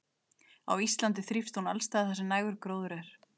á íslandi þrífst hún alls staðar þar sem nægur gróður er